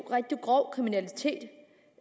rigtig grov kriminalitet